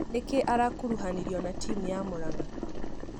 Nĩkĩ arakũruhanio na timũ ya Muranga.